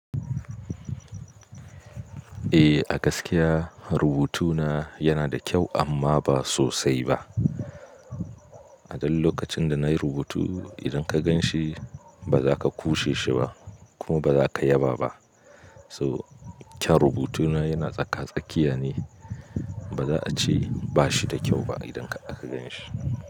Eh a gaskiya rubutuna yana da kyau amma ba sosai ba. A dan lokacin da na yi rubutu idan ka gan shi ba za ka kushe shi ba kuma ba za ka yaba ba. To kyau rubutuna yana tsaka tsakiya ne. Ba za a ce ba shi da kyau ba idan aka ganshi.